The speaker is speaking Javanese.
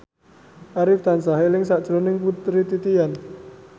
Arif tansah eling sakjroning Putri Titian